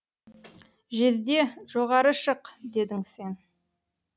жезде жоғары шық дедің сен